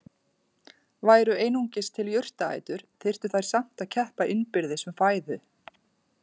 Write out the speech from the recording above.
Væru einungis til jurtaætur þyrftu þær samt að keppa innbyrðis um fæðu.